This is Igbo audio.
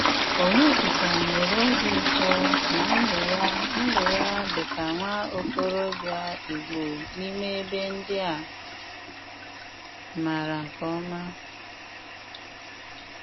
Ọnyédíkà nwéré òbí ụtọ ná ndụ́ yá ndụ́ yá dí kà nwá ókóròbíà Ìgbò n’ímè ebe ndí à máárá nké òma.